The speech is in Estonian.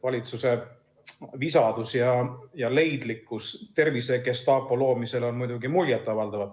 Valitsuse visadus ja leidlikkus tervisegestaapo loomisel on muidugi muljet avaldav.